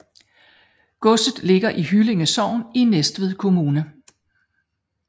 Godset ligger i Hyllinge Sogn i Næstved Kommune